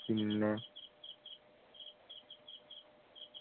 പിന്നെ